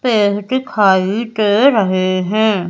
पेड़ दिखाई दे रहे हैं।